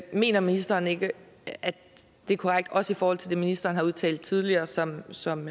mener ministeren ikke at det er korrekt også i forhold til det ministeren har udtalt tidligere som som